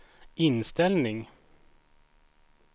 inställning